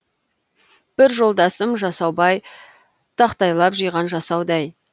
бір жолдасым жасаубай тақтайлап жиған жасаудай